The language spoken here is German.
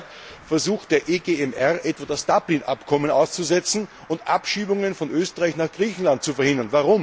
Zurzeit versucht der EGMR, das Dublin Abkommen auszusetzen und Abschiebungen von Österreich nach Griechenland zu verhindern.